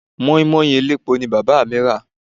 Moin Moin elépo ni Bàbá mi rà.